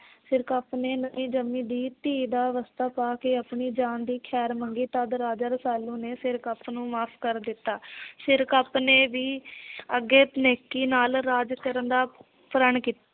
ਸਿਰਕਪ ਨੇ ਨਵੀ ਜੰਮੀ ਦੀ ਧੀ ਦਾ ਵਾਸਤਾ ਪਾ ਕੇ ਆਪਣੀ ਜਾਨ ਦੀ ਖੈਰ ਮੰਗੀ। ਤਦ ਰਾਜਾ ਰਸਾਲੂ ਨੇ ਸਿਰਕਪ ਨੂੰ ਮਾਫ ਕਰ ਦਿੱਤਾ। ਸਿਰਕਪ ਨੇ ਵੀ ਅੱਗੇ ਨੇਕੀ ਨਾਲ ਰਾਜ ਕਰਨ ਦਾ ਪ੍ਰੱਣ ਕੀਤਾ।